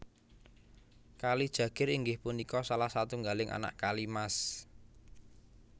Kali Jagir inggih punika salah satunggaling anak Kali Mas